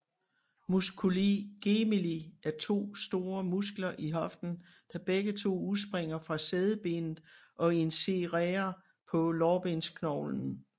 Musculi gemelli er to små muskler i hoften der begge to udspringer fra sædebenet og insererer på lårbensknoglen